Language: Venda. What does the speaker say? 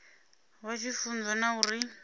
vha tshi funzwa na uri